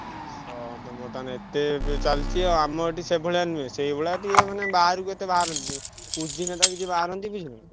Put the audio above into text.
ତମର ତାହେଲେ ଏତେ ଇଏ ଚାଲଚି ଆଉ ଆମର ଏଠି ସେଭଳିଆ ନୁହେଁ, ସେଇଭଳିଆ ଟିକେ ମାନେ ବାହାରକୁ ଏତେ ବାହାରନ୍ତିନି। କୁଜି ନେତା କିଛି ବାହାରନ୍ତି ବୁଝିଲନା।